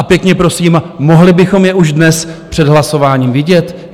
A pěkně prosím, mohli bychom je už dnes před hlasováním vidět?